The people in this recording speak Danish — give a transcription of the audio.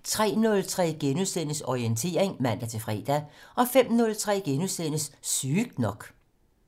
03:03: Orientering *(man-fre) 05:03: Sygt nok *